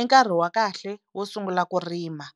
i nkarhi wa kahle wo sungula ku rima.